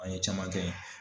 An ye caman kɛ.